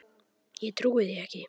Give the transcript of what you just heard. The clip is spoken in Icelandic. Ég trúi því ekki!